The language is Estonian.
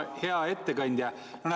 Hea ettekandja!